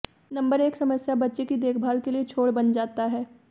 number एक समस्या बच्चे की देखभाल के लिए छोड़ बन जाता है